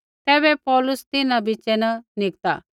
तैबै पौलुस तिन्हां बिच़ै न निकता